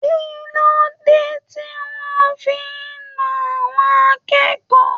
Kilode tí wọn fí nà àwọn akẹ́kọ̀ọ́?